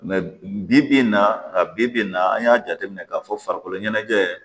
bi bi in na bibi in na an y'a jateminɛ k'a fɔ farikolo ɲɛnajɛ